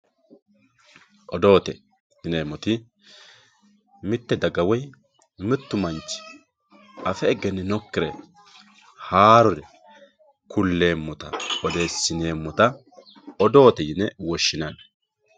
odoote yineemoti mitte daga woy mittu manchi afe egeninokire haarore kulleemota odeesineemota odoote yine woshshinanni.